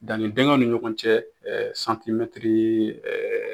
Danni dingɛw ni ɲɔgɔn cɛ, ɛɛ santimɛtiri